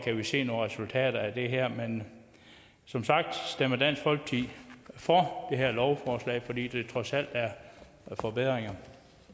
vi se nogle resultater af det her men som sagt stemmer dansk folkeparti for det her lovforslag fordi det trods alt er en forbedring